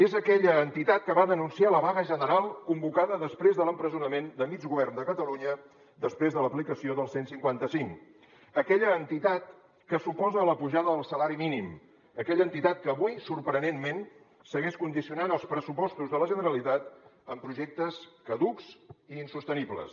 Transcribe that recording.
és aquella entitat que va denunciar la vaga general convocada després de l’empresonament de mig govern de catalunya després de l’aplicació del cent i cinquanta cinc aquella entitat que s’oposa a la pujada del salari mínim aquella entitat que avui sorprenentment segueix condicionant els pressupostos de la generalitat amb projectes caducs i insostenibles